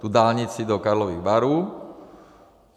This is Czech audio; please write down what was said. Tu dálnici do Karlových Varů.